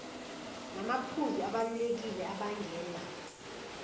namaphuzu abalulekile abangela